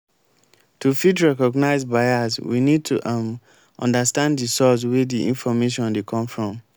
to fit recognize bias we need to um understand di source wey di information dey come from